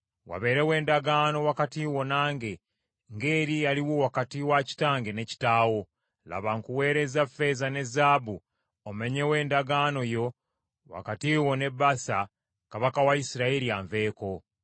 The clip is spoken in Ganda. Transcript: “Wabeerewo endagaano wakati wo nange, ng’eri eyaliwo wakati wa kitange ne kitaawo. Laba, nkuweerezza ffeeza ne zaabu omenyewo endagaano yo wakati wo ne Baasa kabaka wa Isirayiri, anveeko.”